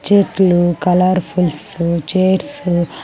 చెట్లు colourfuls chairs .